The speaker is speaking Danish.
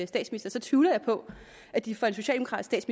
statsminister tvivler jeg på at de får en socialdemokratisk